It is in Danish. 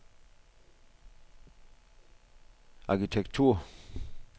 arkitektur